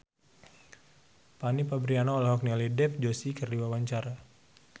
Fanny Fabriana olohok ningali Dev Joshi keur diwawancara